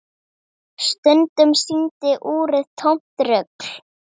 Stundum sýndi úrið tómt rugl.